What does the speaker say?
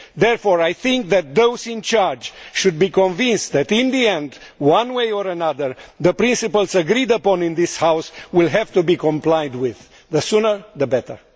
Therefore, I think that those in charge should be convinced that in the end, one way or another, the principles agreed upon in this House will have to be complied with the sooner the better.